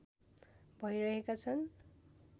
भइरहेका छन्